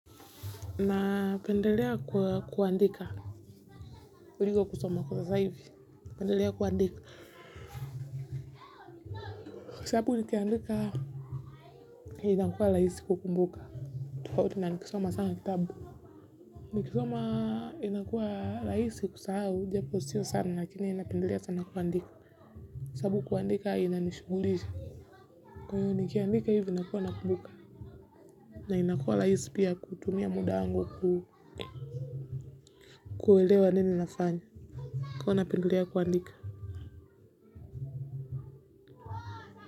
Napendelea kwa kuandika kuliko kusoma kwa sasa hivi. Pendelea kuandika. Kwa sababu nikiandika inakuwa rahisi kukumbuka. Tofauti na nikisoma sana kitabu. Nikisoma inakuwa rahisi kusahau. Japo sio sana lakini napendelea sana kuandika. Kwa sababu kuandika inanishughulisha. Kwa hiyo nikiandika hivi nakuwa nakumbuka. Na inakuwa rahisi pia kutumia muda wangu kuelewa nini nafanya. Kwa iyo napendelea kuandika.